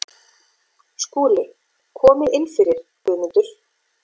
SKÚLI: Komið inn fyrir, Guðmundur.